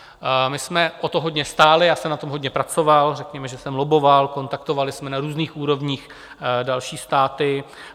My jsme o to hodně stáli, já jsem na tom hodně pracoval, řekněme, že jsem lobboval, kontaktovali jsme na různých úrovních další státy.